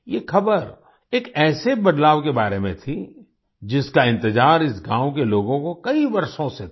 ये खबर एक ऐसे बदलाव के बारे में थी जिसका इंतजार इस गाँव के लोगों को कई वर्षों से था